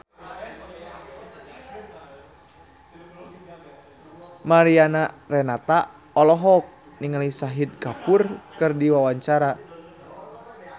Mariana Renata olohok ningali Shahid Kapoor keur diwawancara